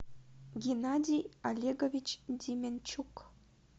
геннадий олегович деменчук